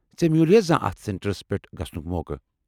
ژےٚ میوٗلیا زانٛہہ اتھ سینٹرس پٮ۪ٹھ گژھنُک موقعہٕ؟